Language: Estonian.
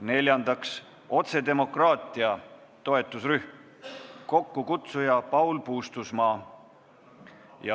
Neljandaks, otsedemokraatia toetusrühm, kokkukutsuja on Paul Puustusmaa.